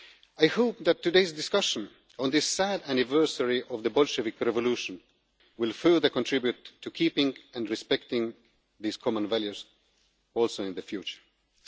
rule of law. I hope that today's discussion on this sad anniversary of the Bolshevik revolution will further contribute to keeping and respecting these common values in the future, too.